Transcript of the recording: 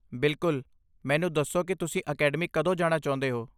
ਬਿਲਕੁਲ, ਮੈਨੂੰ ਦੱਸੋ ਕਿ ਤੁਸੀਂ ਅਕੈਡਮੀ ਕਦੋਂ ਜਾਣਾ ਚਾਹੁੰਦੇ ਹੋ।